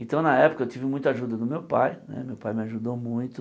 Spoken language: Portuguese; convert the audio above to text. Então, na época eu tive muita ajuda do meu pai, né meu pai me ajudou muito.